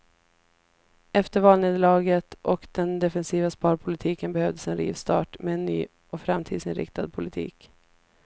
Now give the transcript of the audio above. Efter valnederlaget och den defensiva sparpolitiken behövdes en rivstart med en ny och framtidsinriktad politik.